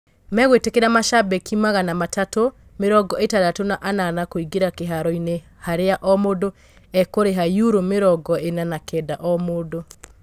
Megũĩtĩkĩria macambĩki magana matatũ mĩrongoĩtandatũ na anana kũingĩra kĩharoinĩ harĩa o mũndũ ekũriha yuro mĩrongoĩna na kenda o mũndũ.